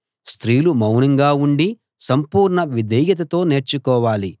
స్త్రీలు మౌనంగా ఉండి సంపూర్ణ విధేయతతో నేర్చుకోవాలి